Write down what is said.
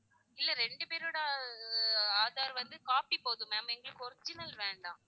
இல்ல ரெண்டு பேரோட ஆஹ் aadhar வந்து copy போதும் ma'am எங்களுக்கு original வேண்டாம்